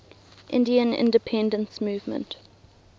indian independence movement